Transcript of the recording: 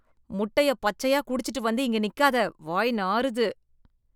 முட்டைய பச்சையா குடிச்சிட்டு வந்து இங்க நிக்காதே, வாய் நாறுது.